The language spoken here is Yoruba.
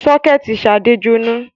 Sọ́kẹ́tì Ṣadé jóná.